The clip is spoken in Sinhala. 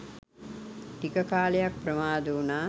ටික කාලයක් ප්‍රමාද වුනා.